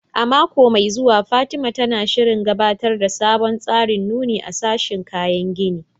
A mako mai zuwa, Fatima, tana shirin gabatar da sabon tsarin nuni a sashin kayan gini